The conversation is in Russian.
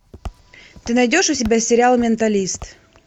ты найдешь у себя сериал менталист